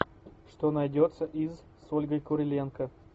что найдется из с ольгой куриленко